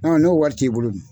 n'o wari t'i bolo dun